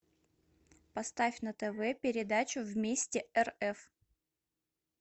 поставь на тв передачу вместе рф